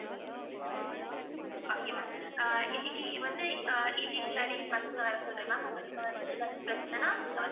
okay ma'am ஆஹ் இன்னைக்கு வந்து evening இல்லாட்டி பசங்கள வர சொல்லுங்க ma'am உங்களுக்கு வந்து ஏதாச்சும் பிரச்சனைன்னா நீங்க வந்து